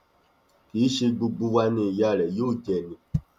kì í ṣe gbogbo wa ni ìyá rẹ yóò jẹ ni